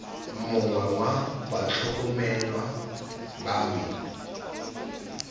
mongwe wa batlhokomelwa ba me